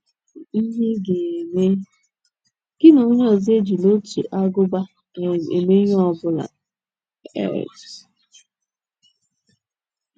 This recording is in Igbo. IHE Ị GA - EME: Gị na onye ọzọ ejila otu ágụbá um eme ihe ọ bụla um.